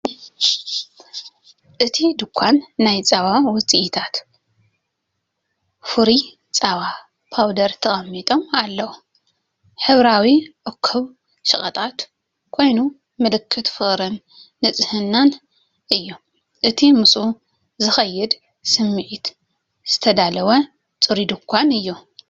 ኣብቲ ድኳን ናይ ጸባ ውፅኢታት ፍሩይ ጸባ ፓውደርን ተቐሚጦም ኣለዉ። ሕብራዊ እኩብ ሸቐጣት ኮይኑ፡ ምልክት ፍቕርን ንጽህናን እዩ። እቲ ምስኡ ዝኸይድ ስምዒት ዝተዳለወን ጽሩይን ድኳን እዩ።